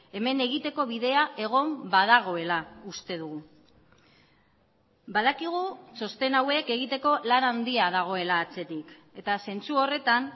hemen egiteko bidea egon badagoela uste dugu badakigu txosten hauek egiteko lan handia dagoela atzetik eta zentzu horretan